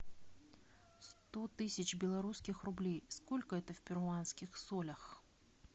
сто тысяч белорусских рублей сколько это в перуанских солях